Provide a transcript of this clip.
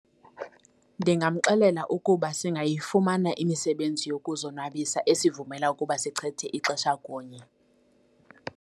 Ndingamxelela ukuba singayifumana imisebenzi yokuzonwabisa esivumela ukuba sichithe ixesha kunye.